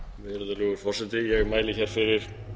virðulegur forseti ég mæli hér fyrir